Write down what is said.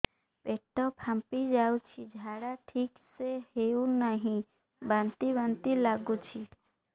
ପେଟ ଫାମ୍ପି ଯାଉଛି ଝାଡା ଠିକ ସେ ହଉନାହିଁ ବାନ୍ତି ବାନ୍ତି ଲଗୁଛି